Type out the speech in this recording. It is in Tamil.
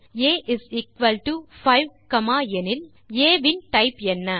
ஐஎஃப் ஆ 5 பின் ஆ இன் டைப் என்ன